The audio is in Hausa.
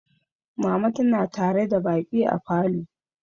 Mama tana tare da baƙi a falo.